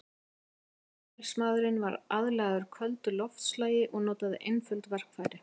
Neanderdalsmaðurinn var aðlagaður köldu loftslagi og notaði einföld verkfæri.